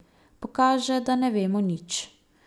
Pokaže, da ne vemo nič.